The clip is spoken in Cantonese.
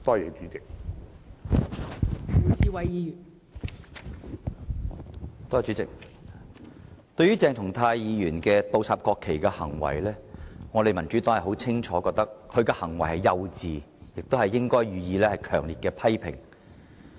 代理主席，對於鄭松泰議員倒插國旗的行為，我們民主黨清楚認為他的行為幼稚，亦應予以強烈批評。